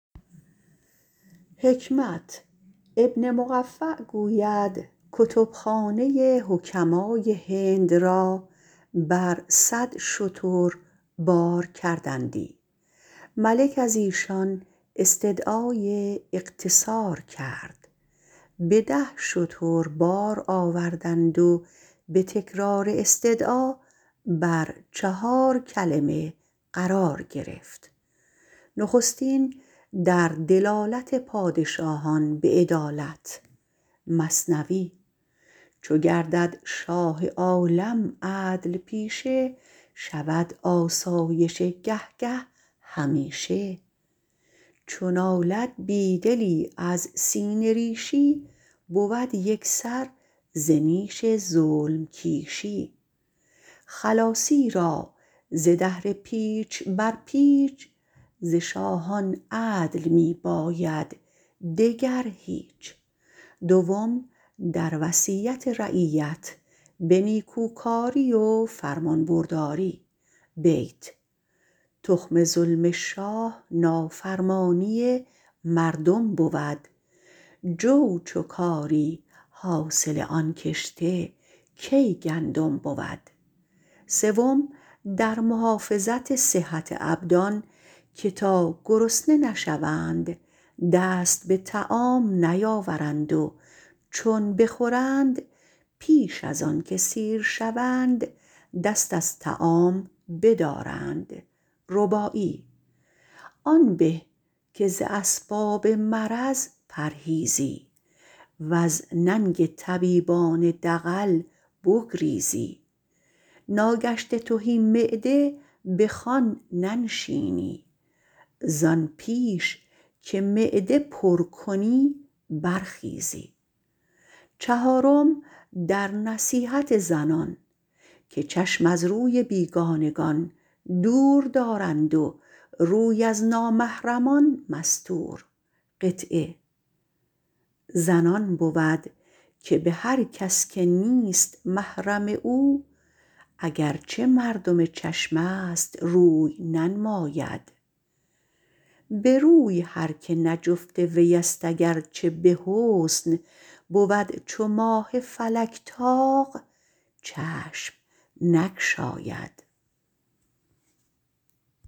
ابن مقفع گوید کتبخانه حکمای هند را بر صد شتر می کشیدند ملک ایشان استدعای اختصار کرد به دو شتر باز آوردند و به تکرار استدعا بر چهار کلمه قرار گرفت کلمه نخستین در دلالت پادشاهان به عدالت و رعیت پروری چو گردد شاه عالم عدل پیشه شود آسایش گه گه همیشه چو نالد بیدلی از سینه ریشی بود یکسر ز نیش ظلم کیشی خلاصی را ز دهر پیچ بر پیچ ز شاهان عدل می باید دگر هیچ کلمه دویم در وصیت رعیت به نیکوکاری و فرمانبرداری تخم ظلم شاه نافرمانی مردم بود جو چو کاری حاصل آن کشته کی گندم بود کلمه سیوم در محافظت صحت ابدان که تا گرسنه نشوند دست به طعام نیارند و چون بخورند پیش از آنکه سیر شوند دست از طعام بدارند آن به که ز اسباب مرض پرهیزی وز ننگ طبیبان دغل بگریزی ناگشته تهی معده به خوان ننشینی زان پیش که معده پرکنی برخیزی کلمه چهارم در نصیحت زنان که چشم از روی بیگانگان دور دارند و روی از چشم نامحرمان مستور زن آن بود که به هرکس که نیست محرم او اگر چه مردم چشم است روی ننماید به روی هر که نه جفت ویست گرچه به حسن بود چو ماه فلک طاق چشم نگشاید